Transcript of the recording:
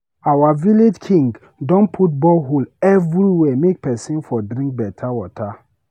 wetin make you fit provide food and shelter for your pikin dem?